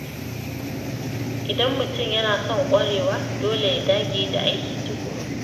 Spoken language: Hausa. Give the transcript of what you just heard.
Idan mutum yana son ƙwarewa, dole ya dage da aiki tukuru.